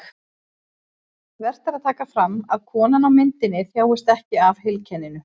Vert er að taka fram að konan á myndinni þjáist ekki af heilkenninu.